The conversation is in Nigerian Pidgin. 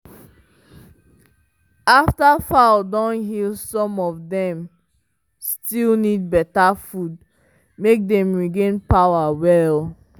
after fowl don heal some of dem still need beta food make dem regain power well.